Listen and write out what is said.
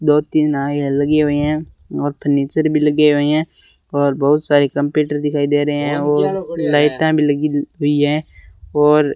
दो तीन नाये है लगी हुए हैं और फर्नीचर भी लगे हुए हैं और बहुत सारे कंप्यूटर दिखाई दे रहे हैं और लाइटा भी लगी हुई हैं और --